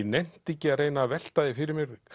nennti ekki að reyna að velta fyrir mér